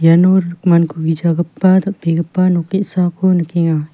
iano rikmankugijagipa dal·begipa nok ge·sako nikenga.